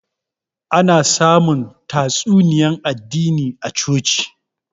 Ana samun tatsuniyan addini a coci